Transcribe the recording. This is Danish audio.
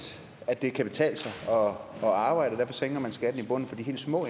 at det kan betale sig at arbejde og derfor sænker man skatten i bunden for de helt små